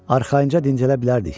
Arxayınca dincələ bilərdik.